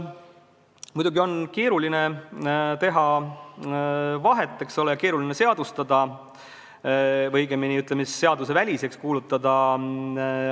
Muidugi on keeruline arvamusvabaduse tingimustes mõjuagendid seadusvastasteks kuulutada.